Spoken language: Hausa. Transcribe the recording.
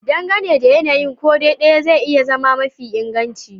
Dangane da yanayin, ko dai ɗaya zai iya zama mafi inganci